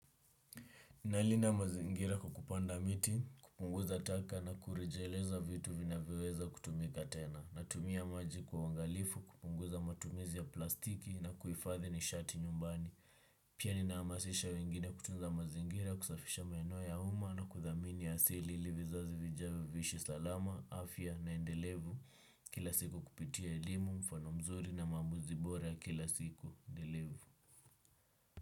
Nalinda mazingira kukupanda miti, kupunguza taka na kurejeleza vitu vinavioweza kutumika tena, natumia maji kwa wangalifu, kupunguza matumizi ya plastiki na kuifathi nishati nyumbani. Pia ninaamasisha wengine kutunza mazingira, kusafisha maenoa ya uma na kuthamini asili ili vizazi vijavio vishi salama, afya na endelevu kila siku kupitia elimu, mfano mzuri na mamuzi bora kila siku endelevu.